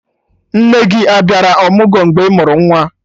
Nne gị a bịara ọmụgwọ mgbe ị mụrụ nwa?